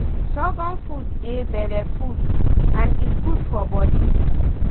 sorghum food dey belleful and e good for body.